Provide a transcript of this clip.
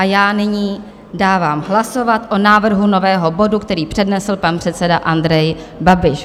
A já nyní dávám hlasovat o návrhu nového bodu, který přednesl pan předseda Andrej Babiš.